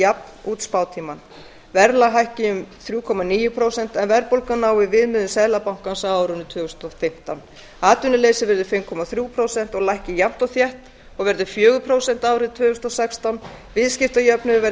jafn út spátímann verðlag hækki um þrjú komma níu prósent en verðbólgan nái viðmiðum seðlabankans á árinu tvö þúsund og fimmtán atvinnuleysi verði fimm komma þrjú prósent og lækki jafnt og þétt og verði fjögur prósent árið tvö þúsund og sextán viðskiptajöfnuður verði